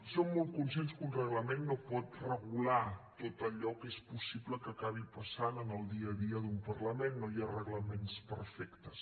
som molt conscients que un reglament no pot regular tot allò que és possible que acabi passant en el dia a dia d’un parlament no hi ha reglaments perfectes